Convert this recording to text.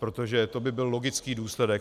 Protože to by byl logický důsledek.